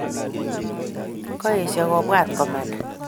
Koesho kobwat komanda